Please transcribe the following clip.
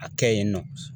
A kɛ yen nɔ